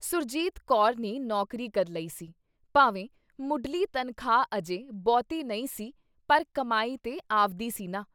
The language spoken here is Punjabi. ਸੁਰਜੀਤ ਕੌਰ ਨੇ ਨੌਕਰੀ ਕਰ ਲਈ ਸੀ, ਭਾਵੇਂ ਮੁਢਲੀ ਤਨਖਾਹ ਅਜੇ ਬਹੁਤੀ ਨਹੀਂ ਸੀ ਪਰ ਕਮਾਈ ਤੇ ਆਵਦੀ ਸੀ ਨਾ।